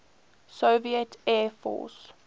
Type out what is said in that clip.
soviet air force